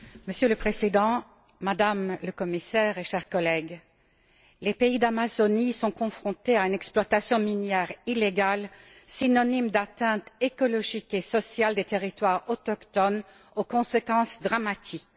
Monsieur le Président, Madame la Commissaire, chers collègues, les pays d'Amazonie sont confrontés à une exploitation minière illégale, synonyme d'atteinte écologique et sociale des territoires autochtones aux conséquences dramatiques.